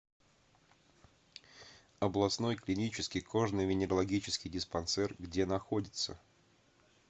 областной клинический кожно венерологический диспансер где находится